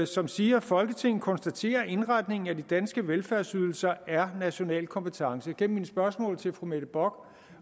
som siger at folketinget konstaterer at indretningen af de danske velfærdsydelser er national kompetence igennem mine spørgsmål til fru mette bock